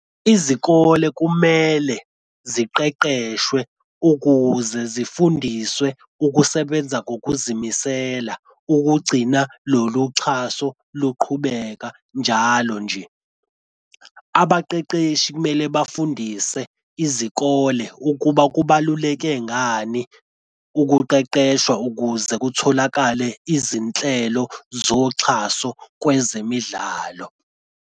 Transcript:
Izikole kumele ziqeqeshwe ukuze zifundiswe ukusebenza ngokuzimisela ukugcina lolu xhaso luqhubeka njalo nje. Abaqeqeshi kumele bafundise izikole ukuba kubaluleke ngani ukuqeqeshwa ukuze kutholakale izinhlelo zoxhaso kwezemidlalo.